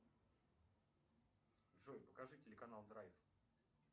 джой покажи телеканал драйв